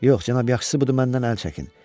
Yox cənab, yaxşısı budur məndən əl çəkin.